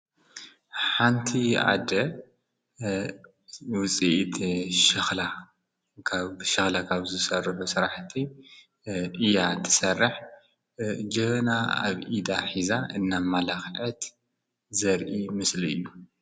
ሓንቲ ኣደ ውፀየት ሽኽላ ጋብ ብሽኽላ ካብ ዘሠርሎ ሠራሕቲ ኢያ ተሠርሕ ጀና ኣብ ኢዳ ኂዛ እና መላኽአት ዘርኢ ምስል እዩ።